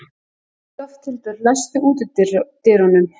Lofthildur, læstu útidyrunum.